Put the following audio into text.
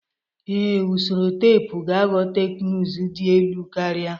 Ee, usoro teepu ga-aghọ teknụzụ dị elu karịa